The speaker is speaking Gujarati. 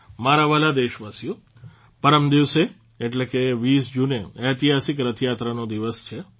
મારા વહાલા દેશવાસીઓ પરમદિવસે એટલે કે 20 જૂને ઐતિહાસિક રથયાત્રાનો દિવસ છે